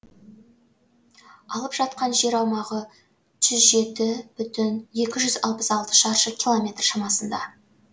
алып жатқан жер аумағы жүз жеті бүтін екі жүз алпыс алты шаршы километр шамасында